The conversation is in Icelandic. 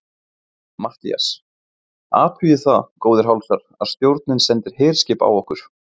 MATTHÍAS: Athugið það, góðir hálsar, að stjórnin sendir herskip á okkur!